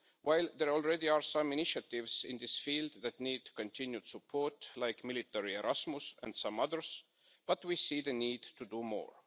While there are already some initiatives in this field that need continued support, like the Military Erasmus programme and some others, we see the need to do more.